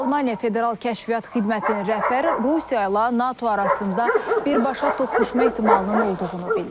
Almaniya Federal Kəşfiyyat Xidmətinin rəhbəri Rusiya ilə NATO arasında birbaşa toqquşma ehtimalının olduğunu bildirib.